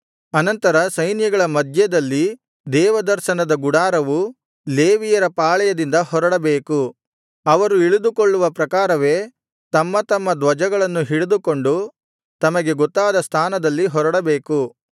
ಅನಂತರ ಸೈನ್ಯಗಳ ಮಧ್ಯದಲ್ಲಿ ದೇವದರ್ಶನದ ಗುಡಾರವು ಲೇವಿಯರ ಪಾಳೆಯದಿಂದ ಹೊರಡಬೇಕು ಅವರು ಇಳಿದುಕೊಳ್ಳುವ ಪ್ರಕಾರವೇ ತಮ್ಮ ತಮ್ಮ ಧ್ವಜಗಳನ್ನು ಹಿಡಿದುಕೊಂಡು ತಮಗೆ ಗೊತ್ತಾದ ಸ್ಥಾನದಲ್ಲಿ ಹೊರಡಬೇಕು